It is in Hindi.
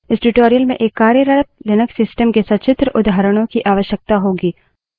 इस tutorial में एक कार्यरत लिनक्स system के सचित्र उदाहरणों की आवश्यकता होगी